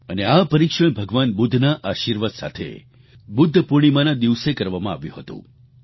અને આ પરીક્ષણ ભગવાન બુદ્ધના આશિર્વાદ સાથે બુદ્ધ પૂર્ણિમાના દિવસે કરવામાં આવ્યું હતું